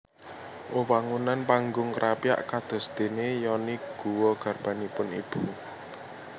Wewangunan Panggung Krapyak kadosdene yoni guwa garbanipun ibu